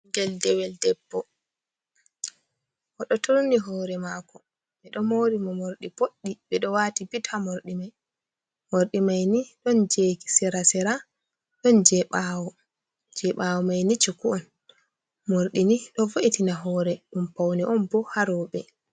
"Ɓiingel dewel" debbo oɗo turni hore mako ɓe ɗo mori mo mordi boddi ɓe ɗo wati bit ha morira mordi maini don jeji sera sera don je ɓawo maini cuku on mordini ɗo vo’itina hore ɗum pauni on bo ha roɓe.